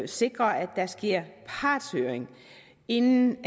sikre at der sker partshøring inden